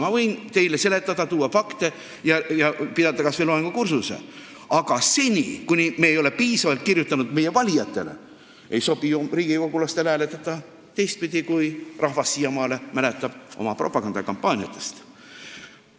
Ma võin teile seletada, tuua fakte ja pidada kas või loengukursuse, aga seni, kuni me pole asja piisavalt selgitanud meie valijatele, ei sobi riigikogulastel hääletada teistpidi, kui rahvas siiamaale kunagiste propagandakampaaniate mõjul teab.